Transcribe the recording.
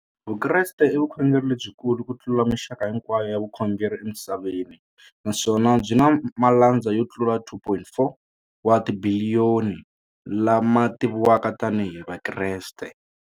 Vukreste i vukhongeri lebyi kulu kutlula mixaka hinkwayo ya vukhongeri emisaveni, naswona byi na malandza yo tlula 2.4 wa tibiliyoni, la ma tiviwaka tani hi Vakreste.